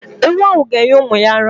Ewu ahụ ga- enye ụmụ ya ara.